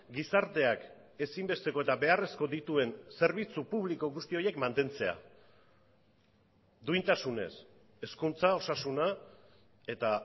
gizarteak ezinbesteko eta beharrezko dituen zerbitzu publiko guzti horiek mantentzea duintasunez hezkuntza osasuna eta